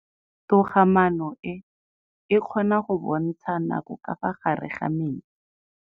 Toga-maanô e, e kgona go bontsha nakô ka fa gare ga metsi.